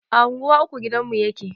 A unguwa uku gidanmu yake